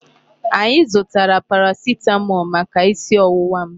Anyị zụtara paracetamol maka isi ọwụwa m.